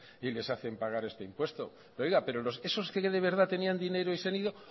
y les hacen pagan este impuesto pero esos que verdad tenían dinero y se han ido